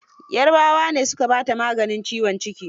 Yarabawa ne su ka baa ta maganin ciwon ciki.